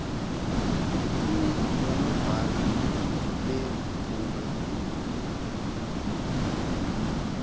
emi nonobhala bebhunga